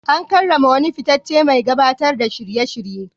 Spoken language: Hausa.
An karrama wani fitaccen mai gabatar da shirye-shirye.